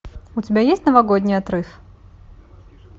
у тебя есть новогодний отрыв